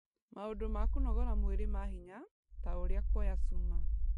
Maũndũ ma kũnogora mwĩrĩ ma hinya, ta ũrĩa kuoya Cuma,